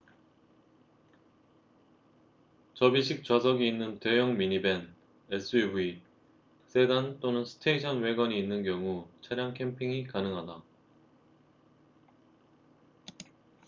접이식 좌석이 있는 대형 미니밴 suv 세단 또는 스테이션 왜건이 있는 경우 차량 캠핑이 가능하다